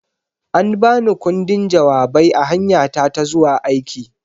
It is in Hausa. An ba ni ƙundin jawabai a hanyata ta zuwa aiki.